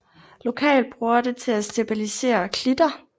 Lokalt bruger det til at stabilisere klitter